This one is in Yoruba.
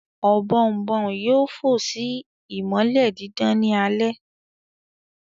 Ọ̀bọ̀ọ̀nbọọ̀n yoo fò si imọlẹ didan ni alẹ